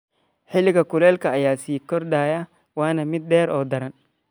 Xilliga kuleylka ayaa sii kordhaya, waana mid dheer oo daran.